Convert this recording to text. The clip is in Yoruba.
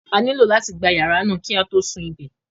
A nílò láti gba yàrá náà kí á tó sun I bè